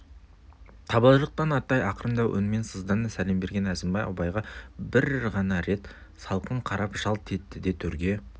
табалдырықтан аттай ақырындау үнмен сыздана сәлем берген әзімбай абайға бір ғана рет салқын қарап жалт етті де төрге